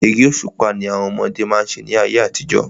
Eré òṣùpá ni àwọn ọmọdé má ń ṣe ní ayé àtijọ́.